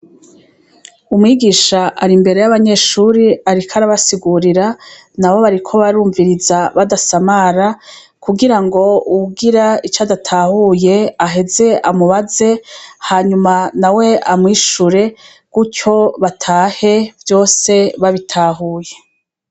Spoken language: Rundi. Umwigisha ari imbere y' abanyeshure ariko arabasigurira nabo bariko barumviriza badasamara kugira ngo uwugira ico adatahuye aheze amubaze hanyuma nawe amwishure gutyo batahe vyose babitahuye.